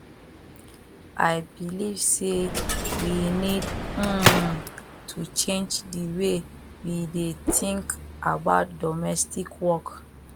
i believe say we need um to change di way we dey think about domestic work